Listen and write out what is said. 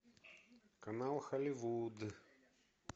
канал голливуд